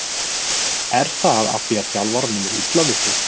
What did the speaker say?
Er það af því að þjálfaranum er illa við þig?